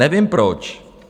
Nevím proč.